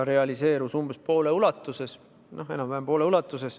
Realiseerus umbes poole ulatuses, enam-vähem poole ulatuses.